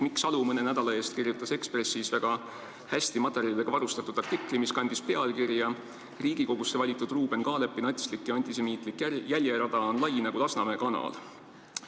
Mikk Salu kirjutas mõne nädala eest Eestis Ekspressis väga hästi materjalidega varustatud artikli, mis kandis pealkirja "Riigikogusse valitud Ruuben Kaalepi natslik ja antisemiitlik jäljerada on lai nagu Lasnamäe kanal".